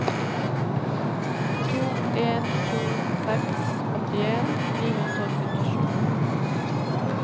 to en to seks åttien ni hundre og syttisju